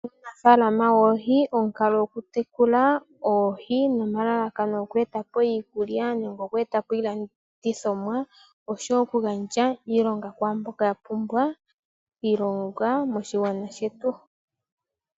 Uunafaalama woohi, omukalo goku tekula oohi nomalalakano goku etapo iikulya nenge goku etapo iilandithomwa, oshowo oku gandja iilonga kwaamboka ya pumbwa iilonga moshilongo shetu.